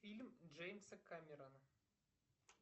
фильм джеймса камерона